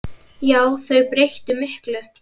Já, þau breyttu miklu.